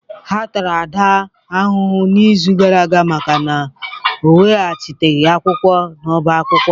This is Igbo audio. A tara Ada ahụhụ n'izu gara aga maka na ọ iweghachite akwụkwọ na ọbá akwụkwọ.